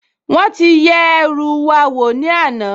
Wọ́n ti yẹ ẹrú wa wò ní àná